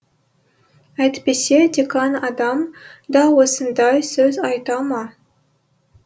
әйтпесе декан адам да осындай сөз айта ма